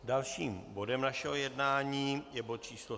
Dalším bodem našeho jednání je bod číslo